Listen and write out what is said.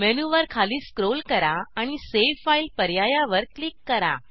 मेनूवर खाली स्क्रोल करा आणि सावे फाइल पर्यायवर क्लिक करा